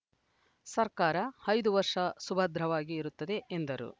ಸರ್ಕಾರ ಐದು ವರ್ಷ ಸುಭದ್ರವಾಗಿ ಇರುತ್ತದೆ ಎಂದರು